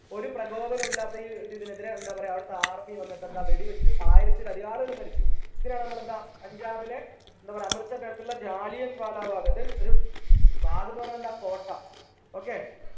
ഒരു പ്രകോപനവുമില്ലാത്ത ഈ ഒരു ഇതിനെതിരെ എന്താ പറയാ അവിടത്തെ army വന്നിട്ട് എന്താ വെടി വെച്ചു ആയിരത്തിലധികം ആളുകളും മരിച്ചു ഇതിനാണ് നമ്മൾ എന്താ പഞ്ചാബിലെ എന്താ പറയാ അമൃതസറിന്റെ അടുത്തുള്ള ജാലിയൻ വാല ബാഗ് അത് ഒരു ബാഗ് ന്ന് പറഞ്ഞ എന്താ കോട്ട okay